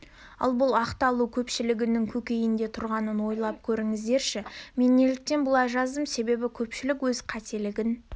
ал бұл ақталу көпшілігінің көкейінде тұрғанын ойлап көріңдерші мен неліктен бұлай жаздым себебі көпшілік өз қателігін